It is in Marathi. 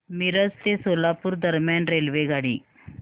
मिरज ते सोलापूर दरम्यान रेल्वेगाडी